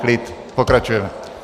Klid, pokračujeme.